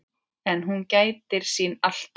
En hún gætir sín alltaf.